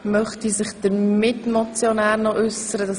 Möchte sich der Mitmotionär äussern?